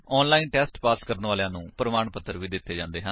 online test pass ਕਰਨ ਵਾਲਿਆਂ ਨੂੰ ਪ੍ਰਮਾਣ ਪੱਤਰ ਵੀ ਦਿੰਦੇ ਹਨ